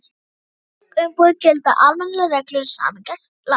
Um slík umboð gilda almennar reglur samningalaga.